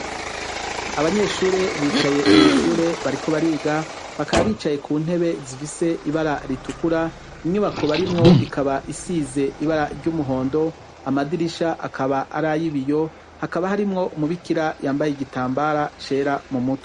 Abanyeshure bicaye mw'ishure bariko bariga, bakaba bicaye kuntebe zifise ibara ritukura, inyubako barimwo ikaba isize ibara ry'umuhondo, amadirisha akaba aray'ibiyo hakaba harimwo umubikira yambaye igitambara cera mumutwe.